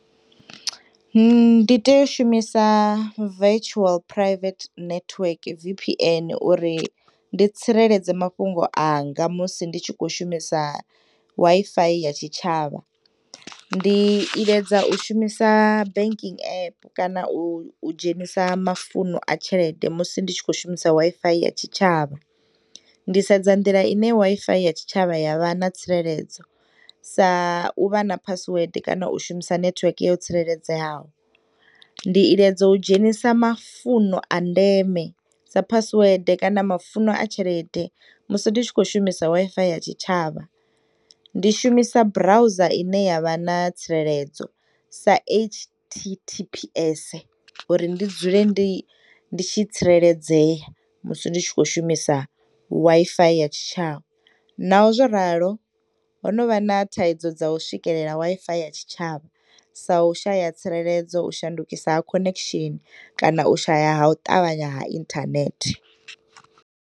Ndi teya u shumisa virtual private network V_P_N uri ndi tsireledze mafhungo anga musi nditshi khou shumisa Wi-Fi ya tshitshavha, Ndi iledza u shumisa banking app kana u dzhenisa mafuno a tshelede musi ndi tshikhou shumisa Wi-Fi ya tshitshavha. Ndi sedza nḓila ine Wi-Fi ya tshi tshavha yavha na tsireledzo sa uvha na password kana u shumisa nethiweke yo tsireledzeaho. Ndi iledza u dzhenisa mafuno a ndeme sa password kana mafuno a tshelede musi nditshi khou shumisa Wi-Fi ya tshitshavha ndi shumisa browser ine yavha na tsireledzo sa h_t_t_p_s uri ndi dzule ndi nditshi tsireledzeya musi ndi tshikhou shumisa Wi-Fi ya tshitshavha, Naho zwo ralo honovha na thaidzo dza u swikelela Wi-Fi ya tshitshavha sa u shaya tsireledzo u shandukisa ha khonekshini kana u shaya ha u ṱavhanya ha inthanethe.